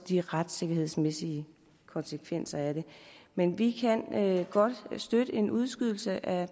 de retssikkerhedsmæssige konsekvenser af det men vi kan godt støtte en udskydelse af